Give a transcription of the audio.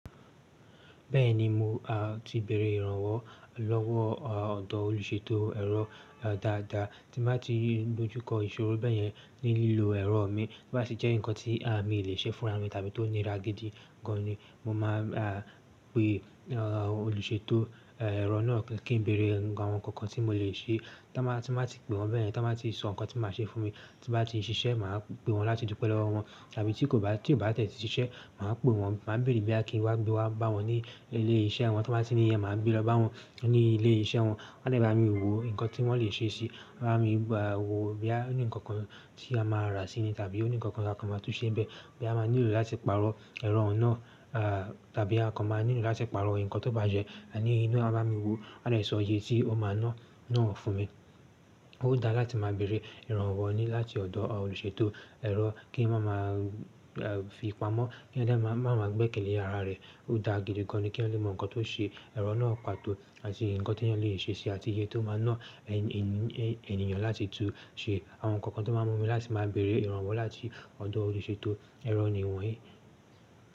Bẹ́ẹ̀ni mo, aà, ti bẹ̀rẹ̀ ìrànlowọ́ lọ́wọ́, à, ọ̀dọ̀ olùṣètò ẹ̀rọ dáadáa tí má ti dojú kọ ìṣòro bẹ̀ yẹn ní lílo ẹ̀rọ mi. To bá tì jẹ́ ǹkan tí, à, mi ò le ṣe fúnra mi tàbí tó nira gidi gan ni mo máa, a, pe, à, olùṣètò, ẹ, ẹ̀rọ náà kí n bẹ̀rẹ̀ ǹkan àwọn kankan tí mo le ṣe. Toba, ti n ba ti pe wọ́n bẹ́ẹ̀ yẹn, toba tí sọ ǹkan tí máa ṣe fún mi, tí n bá ti ṣiṣẹ́ máa pe wọ́n láti dùpẹ́ lọ́wọ́ wọn. Tàbí tí kò bá tí ò bá de ṣiṣẹ́ máa pe wọ́n, máa bèrè boya kí n wá gbe wá bá wọn ní ilé iṣẹ́ wọn. Tí wọ́n bá ti ní yẹn máa gbe lọ bá wọn ní ilé iṣẹ́ wọn. Wọ́n de bá mi wò ǹkan tí wọ́n le ṣe ṣe, wọ́n á mi wò bí ẹ ní ǹkan kan tí a máa rà sí i tàbí ó ní ǹkan kan máa tún ṣe bẹ́ẹ̀. Ehn, aa maa nilo lati paro eró owun naa a, abi a ko ma nilo lati paro nkan to baje ni won maa bami wo. Wọ́n de sọ iye tí ó máa ná náà fún mi. Ó dáa láti má bẹ̀rẹ̀ ìrànlowọ́ ni láti ọ̀dọ̀ olùṣètò ẹ̀rọ kí n má má a fi pamọ́, kí ó dà má má má gbé ike lé àrá rẹ̀. Ó dáa gidi gan ni kí eyan lè mọ ǹkan tó ṣe ẹ̀rọ náà pàtó àti ǹkan tí eyan lè ṣe ṣe àti iye tó má ná ènìyàn láti tún ṣe. Awon nkankan to maa mu mi lati bere Iran lowo lati odo oluseto ero ni wonyi.